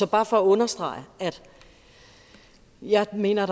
bare for at understrege at jeg mener at